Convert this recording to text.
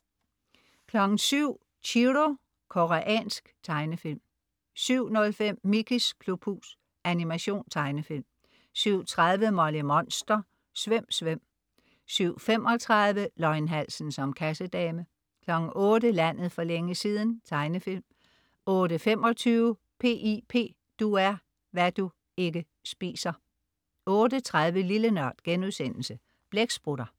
07.00 Chiro. Koreansk tegnefilm 07.05 Mickeys klubhus. Animation/Tegnefilm 07.30 Molly Monster. Svøm, svøm! 07.35 Løgnhalsen som kassedame 08.00 Landet for længe siden. Tegnefilm 08.25 P.I.P. Du er hvad du (ikke) spiser 08.30 Lille NØRD.* Blæksprutter